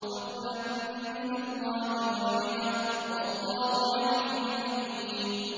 فَضْلًا مِّنَ اللَّهِ وَنِعْمَةً ۚ وَاللَّهُ عَلِيمٌ حَكِيمٌ